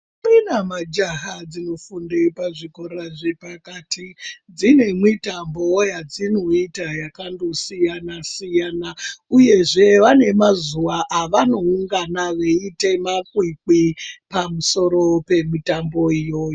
Ndombi nemajaya dzinofunda pazvichikora chepakati dzinemwitambowo yadzinoita yakangosiyana siyana. Uyezve vane mazuva avano ungana veita makwikwi pamusoro pemutambo iyoyo.